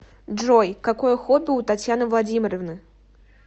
джой какое хобби у татьяны владимировны